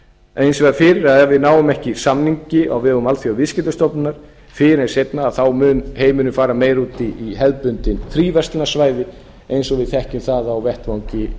vegar fyrir að ef við náum ekki samningi á vegum alþjóðaviðskiptastofnunar fyrr en seinna þá mun heimurinn fara meira út í hefðbundin fríverslunarsvæði eins og við þekkjum það á vettvangi